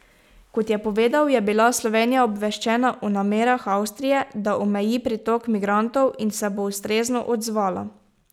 Kot je povedal, je bila Slovenija obveščena o namerah Avstrije, da omeji pritok migrantov, in se bo ustrezno odzvala.